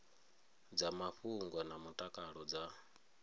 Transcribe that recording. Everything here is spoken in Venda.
dza mafhungo na mutakalo dza